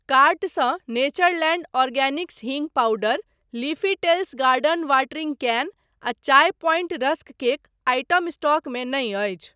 कार्टसँ Natureland Organics हींग powder, Leafy Tales garden watering can आ Chai Point rusk cake item स्टॉकमे नहि अछि।